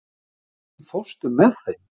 Hrafn, ekki fórstu með þeim?